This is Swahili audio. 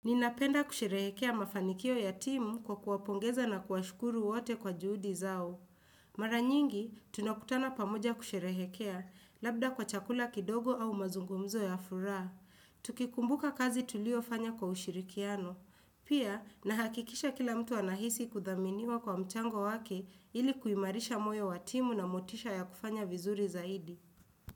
Ninapenda kusherehekea mafanikio ya timu kwa kuwapongeza na kuwashukuru wote kwa juhudi zao. Mara nyingi, tunakutana pamoja kusherehekea, labda kwa chakula kidogo au mazungumzo ya furaha. Tukikumbuka kazi tuliofanya kwa ushirikiano. Pia, nahakikisha kila mtu anahisi kuthaminiwa kwa mchango wake ili kuimarisha moyo wa timu na motisha ya kufanya vizuri zaidi.